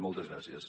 moltes gràcies